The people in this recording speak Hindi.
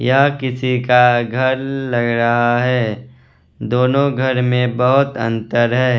यह किसी का घर लग रहा है दोनों घर में बहोत अंतर है।